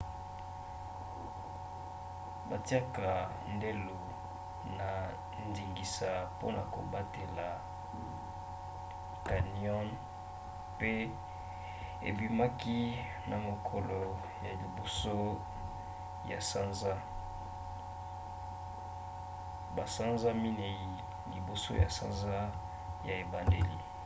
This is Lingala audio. batiaka ndelo na ndingisa mpona kobatela canyon mpe ebimaki na mokolo ya 1 ya sanza basanza minei liboso ya sanza ya ebandeli